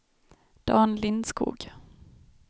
Dan Lindskog